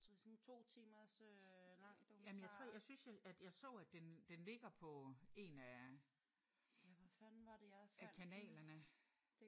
Jamen jeg tror jeg synes at jeg så at den den ligger på en af af kanalerne